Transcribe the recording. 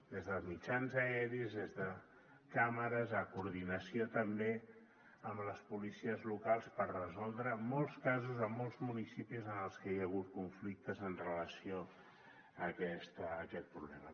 des dels mitjans aeris des de càmeres en coordinació també amb les policies locals per resoldre molts casos en molts municipis en els que hi ha hagut conflictes amb relació a aquest problema